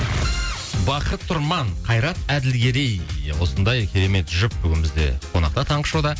бақыт тұрман қайрат әділгерей осындай керемет жұп бүгін бізде қонақта таңғы шоуда